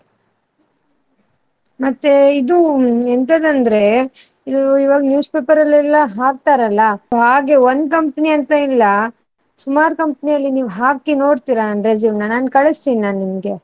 ಮತ್ತೆ ಇದು ಎಂತದು ಅಂದ್ರೆ ಇವಾಗ್ newspaper ಅಲ್ಲೆಲ್ಲಾ ಹಾಕ್ತಾರಲ್ಲ ಹಾಗೆ ಒಂದ್ company ಅಂತ ಇಲ್ಲ ಸುಮಾರ್ company ಯಲ್ಲಿ ನೀವ್ ಹಾಕಿ ನೋಡ್ತೀರಾ ನನ್ resume ನಾನ್ ಕಳ್ಸ್ತೀನಿ ನಾ ನಿಮ್ಗೆ.